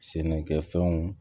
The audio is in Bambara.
Sɛnɛkɛfɛnw